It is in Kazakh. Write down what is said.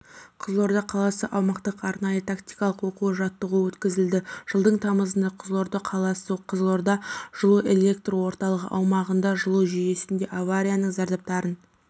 қызылорда қаласы аумақтық арнайы-тактикалық оқу-жаттығуы өткізілді жылдың тамызында қызылорда қаласы қызылордажылуэлектрорталығы аумағында жылу жүйесінде аварияның зардаптарын